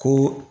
Ko